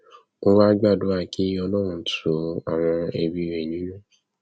ó wàá gbàdúrà kí ọlọrun tu àwọn ẹbí rẹ nínú